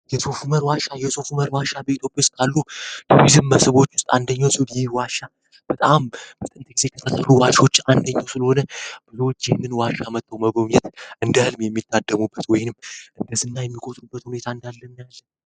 የሶፉመር ዋሻ የሶፉመር ዋሻ በኢትዮጵያ ውስጥ ካሉ የቱሪዝም መስቦች ውስጥ አንደኛው ሲሆን ይህ ዋሻ በጣም ከሚያስገርሙ ዋሾች አንደኛው ስለሆነ ብዙ ሰዎች ይህን ዋሻ መጥተው መጎብኘት እንደህልም የሚታደሙበት ወይንም እንደስና የሚቆጽሩበት ሁኔታ እንዳለ ነው።